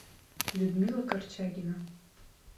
людмила корчагина